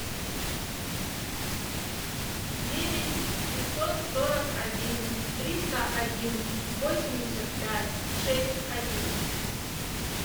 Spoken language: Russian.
девять пятьсот сорок один триста один восемьдесят пять шесть один